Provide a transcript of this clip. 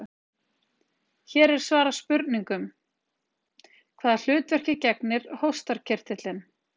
Hér er svarað spurningunum: Hvaða hlutverki gegnir hóstarkirtillinn?